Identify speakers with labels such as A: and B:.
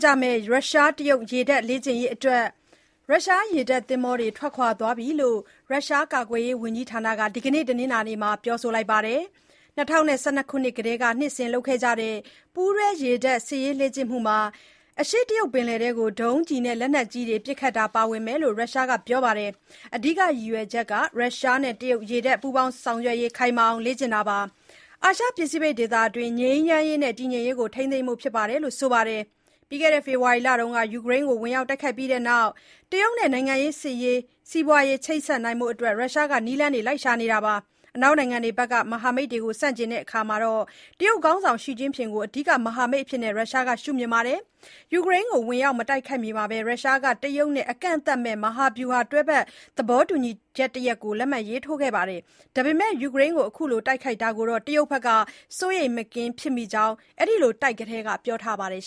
A: ကြမယ့် ရုရှား-တရုတ် ရေတပ်လေ့ကျင့်ရေးအတွက် ရုရှား ရေတပ်သင်္ဘောတွေထွက်ခွါသွားပြီလို့ ရုရှားကာကွယ်ရေးဝန်ကြီးဌာနက ဒီနေ့ တနင်္လာနေ့မှာ ပြောပါတယ်။ ၂၀၁၂ ခုနှစ်ကတည်းက နှစ်စဉ်လုပ်ခဲ့တဲ့ ပူးတွဲရေတပ်စစ်ရေးလေ့ကျင့်မှုမှာ အရှေ့တရုတ်ပင်လယ်ထဲကို ဒုံးကျည်နဲ့ လက်နက်ကြီးတွေပစ်ခတ်တာပါဝင်မယ်လို့ ရုရှားက ပြောပါတယ်။ “အဓိက ရည်ရွယ်ချက်က ရုရှားနဲ့တရုတ်ရေတပ် ပူးပေါင်းဆောင်ရွက်ရေးခိုင်မာအောင် လေ့ကျင့်တာပါ။ အာရှ ပစိဖိတ်ဒေသအတွင်း ငြိမ်းချမ်းရေးနဲ့ တည်ငြိမ်ရေးကို ထိန်းသိမ်းဖို့ ဖြစ်ပါတယ်။” လို့ ဆိုပါတယ်။ ဖေဖော်ဝါရီလမှာ ယူကရိန်းကို ဝင်ရောက်တိုက်ခိုက်ပြီးတဲ့နောက် တရုတ်နဲ့ နိုင်ငံရေး၊ စီးပွါးရေး၊ စစ်ရေးချိတ်ဆက်နိုင်ဖို့ ရုရှားက နည်းလမ်းရှာဖွေနေတာပါ။ အနောက်နိုင်ငံတွေက မဟာမိတ်တွေ ကိုဆန့်ကျင်ရာမှာ တရုတ်ခေါင်းဆောင် ရှီကျင့်ဖျင်ကို အဓိက မဟာမိတ်အဖြစ် ရုရှားက ရှုမြင်ပါတယ်။ ယူကရိန်းကို ဝင်ရောက်မတိုက်ခိုက်မီမှာပဲ ရုရှားက တရုတ်နဲ့ အကန့်အသတ်မဲ့ မဟာဗျူဟာ တွဲဘက် သဘောတူညီချက်တရပ်ကို လက်မှတ်ရေးထိုးခဲ့ကြပါတယ်။ ဒါပေမဲ့ ယူကရိန်းအပေါ် ခုလိုတိုက်ခိုက်တာကို တရုတ်က စိုးရိမ်မကင်းဖြစ်မိကြောင်း အဲဒီလို စတိုက်ကတည်းက ပြောခဲ့ပါတယ်